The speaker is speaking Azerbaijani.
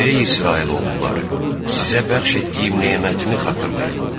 Ey İsrail oğulları, sizə bəxş etdiyim nemətimi xatırlayın!